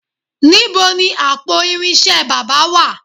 Níbo ni àpò irinṣẹ́ baba wà?